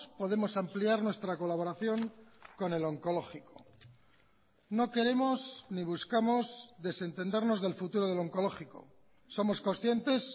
podemos ampliar nuestra colaboración con el oncológico no queremos ni buscamos desentendernos del futuro del oncológico somos conscientes